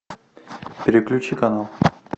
переключи канал